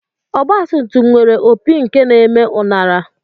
Ọgbatumtum nwere opi nke na-eme uṅara